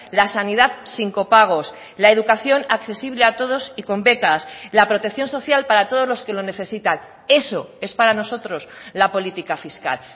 la sanidad sin copagos la educación accesible a todos y con becas la protección social para todos los que lo necesitan eso es para nosotros la política fiscal